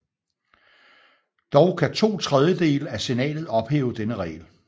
Dog kan to tredjedele af Senatet ophæve denne regel